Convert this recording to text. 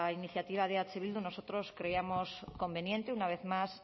iniciativa de eh bildu nosotros creemos conveniente una vez más